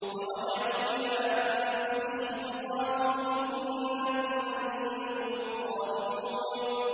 فَرَجَعُوا إِلَىٰ أَنفُسِهِمْ فَقَالُوا إِنَّكُمْ أَنتُمُ الظَّالِمُونَ